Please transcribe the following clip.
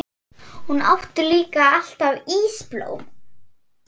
Hún átti líka alltaf ísblóm.